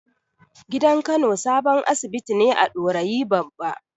Gidan Kano sabon asibiti ne a Dorayi Babba.